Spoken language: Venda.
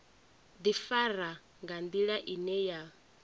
ḓifara nga nḓila ine ya